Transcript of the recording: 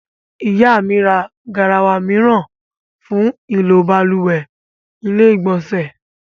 Ìyá mi ra garawa mìíràn fún ìlò balùwẹ́ / ilé ìgbọ̀nsẹ̀